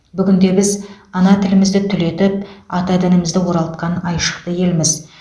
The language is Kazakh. бүгінде біз ана тілімізді түлетіп ата дінімізді оралтқан айшықты елміз